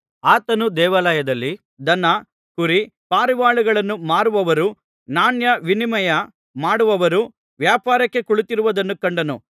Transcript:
ಆತನು ದೇವಾಲಯದಲ್ಲಿ ದನ ಕುರಿ ಪಾರಿವಾಳಗಳನ್ನು ಮಾರುವವರೂ ನಾಣ್ಯ ವಿನಿಮಯ ಮಾಡುವವರು ವ್ಯಾಪಾರಕ್ಕೆ ಕುಳಿತಿರುವುದನ್ನು ಕಂಡನು